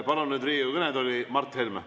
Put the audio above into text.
Palun nüüd Riigikogu kõnetooli Mart Helme.